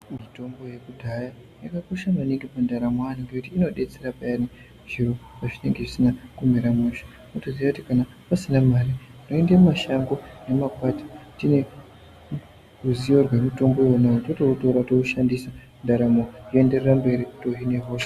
Mitombo yekudhaya yakakosha maningi mundaramo yaanhu ngekuti inodetsera payani zviro pazvinenge zvisina kumira mushe mwotoziya kuti kana pasina mare munoende mumashango nemakwati tine ruzivo rwemutombo iyona totoitorà toishandisa ndaramo yoenderera mberi tohine hosha.